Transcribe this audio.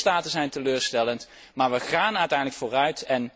Een aantal lidstaten stelt teleur, maar we gaan uiteindelijk vooruit.